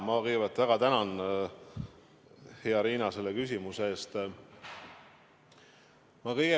Ma kõigepealt väga tänan, hea Riina, selle küsimuse eest!